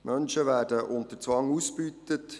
Menschen werden unter Zwang ausgebeutet.